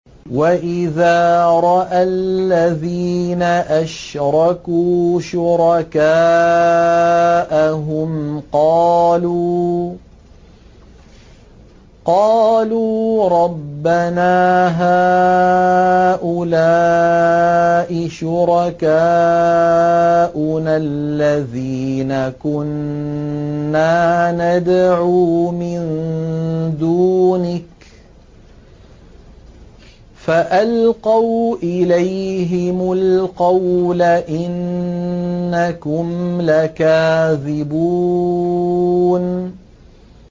وَإِذَا رَأَى الَّذِينَ أَشْرَكُوا شُرَكَاءَهُمْ قَالُوا رَبَّنَا هَٰؤُلَاءِ شُرَكَاؤُنَا الَّذِينَ كُنَّا نَدْعُو مِن دُونِكَ ۖ فَأَلْقَوْا إِلَيْهِمُ الْقَوْلَ إِنَّكُمْ لَكَاذِبُونَ